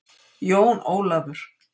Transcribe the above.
Jón Ólafur!